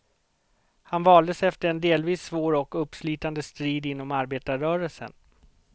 Han valdes efter en delvis svår och uppslitande strid inom arbetarrörelsen.